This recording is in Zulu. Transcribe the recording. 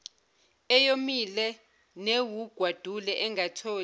eyomile newugwadule engatholi